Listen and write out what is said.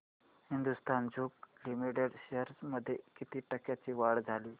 Hindustan zinc limited shares मध्ये किती टक्क्यांची वाढ झाली